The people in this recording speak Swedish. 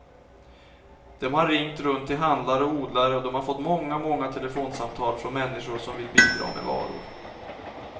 De har ringt runt till handlare och odlare och de har fått många, många telefonsamtal från människor som vill bidra med varor.